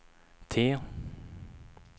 T